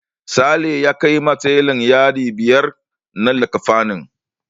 Sale ya kaiwa telan yadi biyar na likkafanin.